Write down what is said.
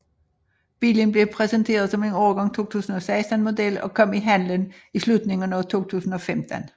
Bilen blev præsenteret som en årgang 2016 model og kom i handlen i slutningen af 2015